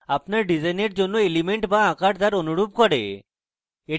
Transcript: আপনার ডিসাইনের অন্য এলিমেন্ট বা আকার তার অনুরূপ করে